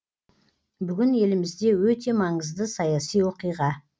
бүгін елімізде өте маңызды саяси оқиға